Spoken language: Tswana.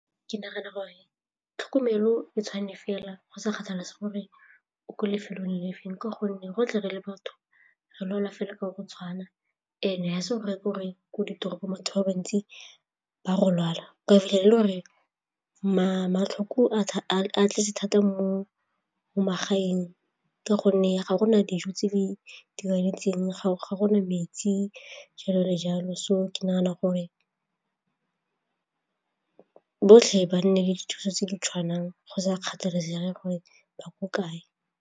Ke nagana gore tlhokomelo e tshwane fela go sa kgathalesege gore o ko lefelong le feng ka gonne go tle re le batho re lwala fela ka gore go tshwana and-e ga se gore ke gore ko ditoropong batho ba bantsi ba go lwala kae le gore matlhoko a tletse thata mo magaeng ka gonne ga gona dijo tse di tshwanetseng, ga gona metsi jalo le jalo so ke nagana gore botlhe ba nne dithuso tse di tshwanang go sa kgathalesege gore ba ko kae.